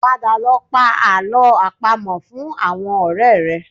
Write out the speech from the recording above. Padà lọ pa àlọ́ àpamọ̀ fún àwọn ọ̀rẹ́ rẹ